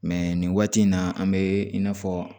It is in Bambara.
nin waati in na an bɛ i n'a fɔ